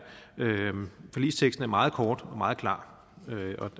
meget kort og meget klar